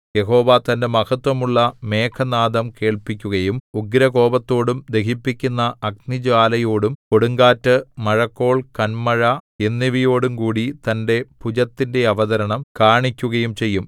യഹോവ തന്റെ മഹത്ത്വമുള്ള മേഘനാദം കേൾപ്പിക്കുകയും ഉഗ്രകോപത്തോടും ദഹിപ്പിക്കുന്ന അഗ്നിജ്വാലയോടും കൊടുങ്കാറ്റ് മഴക്കോൾ കന്മഴ എന്നിവയോടും കൂടി തന്റെ ഭുജത്തിന്റെ അവതരണം കാണിക്കുകയും ചെയ്യും